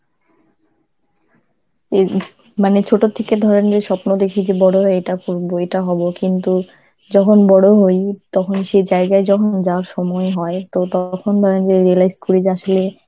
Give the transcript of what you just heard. এর মানে ছোট থেকে ধরে নিয়ে স্বপ্ন দেখি যে বড় হয়ে এটা পড়বো, এটা হবো কিন্তু যখন বড় হই তখন সেই জায়গায় যখন যাওয়ার সময় হয়, তো তখন সেই জায়গায় যাবার সময় হয় তো তখন realise করি যে আসলে